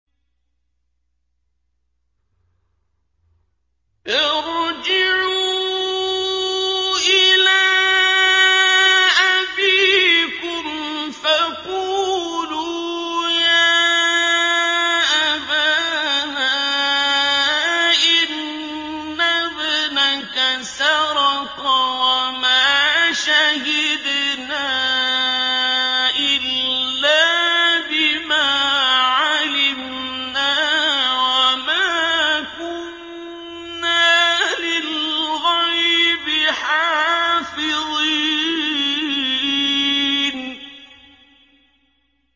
ارْجِعُوا إِلَىٰ أَبِيكُمْ فَقُولُوا يَا أَبَانَا إِنَّ ابْنَكَ سَرَقَ وَمَا شَهِدْنَا إِلَّا بِمَا عَلِمْنَا وَمَا كُنَّا لِلْغَيْبِ حَافِظِينَ